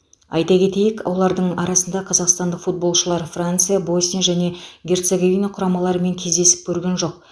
айта кетейік олардың арасында қазақстандық футболшылар франция босния және герцоговина құрамаларымен кездесіп көрген жоқ